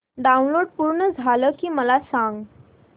download पूर्ण झालं की मला सांग